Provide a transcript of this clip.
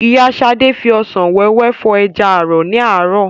Ìyá Ṣadé fi òsán wẹ́wẹ́ fọ̀ ẹja ààrọ̀ ní àárọ̀